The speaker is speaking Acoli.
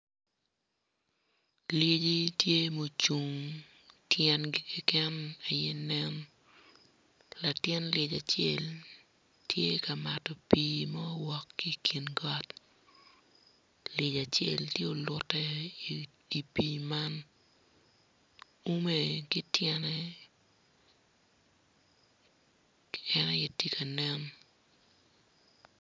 Lyeci tye ma gucung tyengi keken aye nen latin lyec acel tye ka mato pii ma owok ki i kin got lyec acel tye olute i pii man ume ki tyene keken aye tye ka nen.